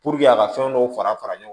a ka fɛn dɔw fara fara ɲɔgɔn